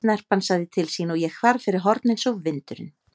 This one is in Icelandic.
Snerpan sagði til sín og ég hvarf fyrir horn eins og vindurinn.